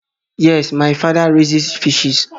Yes, my father riases fishes